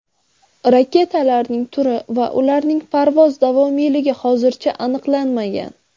Raketalarning turi va ularning parvoz davomiyligi hozircha aniqlanmagan.